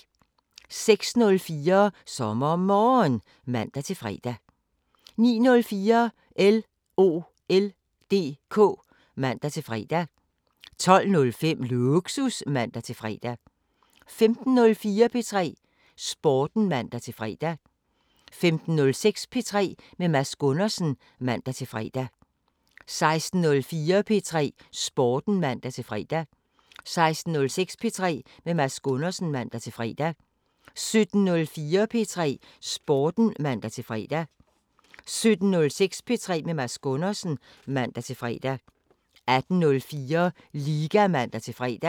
06:04: SommerMorgen (man-fre) 09:04: LOL DK (man-fre) 12:05: Lågsus (man-fre) 15:04: P3 Sporten (man-fre) 15:06: P3 med Mads Gundersen (man-fre) 16:04: P3 Sporten (man-fre) 16:06: P3 med Mads Gundersen (man-fre) 17:04: P3 Sporten (man-fre) 17:06: P3 med Mads Gundersen (man-fre) 18:04: Liga (man-fre)